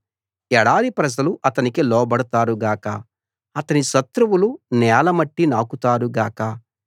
ఎడారి ప్రజలు అతనికి లోబడతారు గాక అతని శత్రువులు నేల మట్టి నాకుతారు గాక